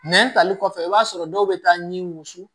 Nɛn tali kɔfɛ i b'a sɔrɔ dɔw bɛ taa ɲi wusu